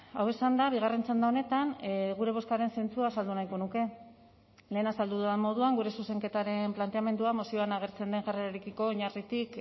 hau esanda bigarren txanda honetan gure bozkaren zentzua azaldu nahiko nuke lehen azaldu dudan moduan gure zuzenketaren planteamendua mozioan agertzen den jarrerarekiko oinarritik